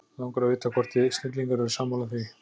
langar að vita hvort þið snillingar eru sammála því